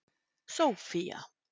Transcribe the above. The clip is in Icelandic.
Sófía